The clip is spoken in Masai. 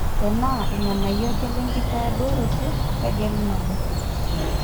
tenaa irr`nganayio ake lenkitoduaroto tegelu nabo